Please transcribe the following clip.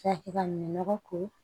nɔgɔ ko